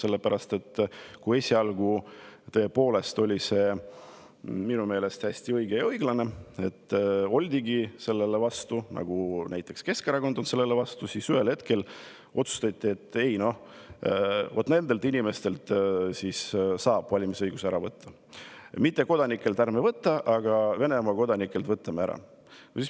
Esialgu oli minu meelest hästi õige ja õiglane, oldigi sellele vastu, nagu näiteks ka Keskerakond on sellele vastu, aga siis ühel hetkel otsustati, et noh, nendelt inimestelt saab valimisõiguse ära võtta, mittekodanikelt ärme võta, aga Venemaa kodanikelt võtame ära.